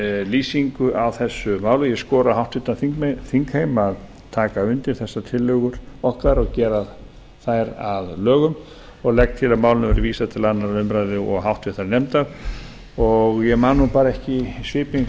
lýsingu á þessu máli og ég skora á háttvirtan þingheim að taka undir þessar tillögur okkar gera þær að lögum og legg til að málinu verði vísað til annarrar umræðu og háttvirtur nefndar ég man bara ekki í svipinn